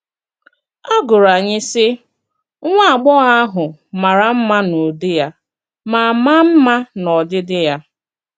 “A gụrụ anyị, sị: ‘Nwá agbọghọ ahụ mārā mma n’ụdị ya ma m̀à mma n’ọdịdị ya.’”